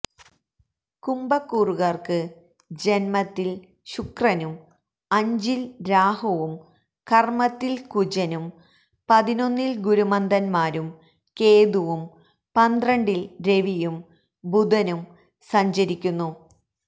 കുംഭക്കൂറുകാർക്ക് ജന്മത്തിൽ ശുക്രനും അഞ്ചിൽ രാഹുവും കർമ്മത്തിൽ കുജനും പതിനൊന്നിൽ ഗുരുമന്ദന്മാരും കേതുവും പന്ത്രണ്ടിൽ രവിയും ബുധനും സഞ്ചരിക്കുന്നു